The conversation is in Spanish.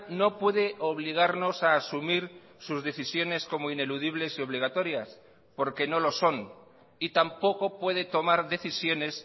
no puede obligarnos a asumir sus decisiones como ineludibles y obligatorias porque no lo son y tampoco puede tomar decisiones